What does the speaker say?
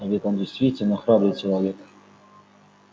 а ведь он действительно храбрый человек